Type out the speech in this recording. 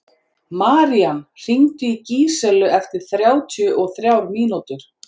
Marían, hringdu í Gíselu eftir þrjátíu og þrjár mínútur.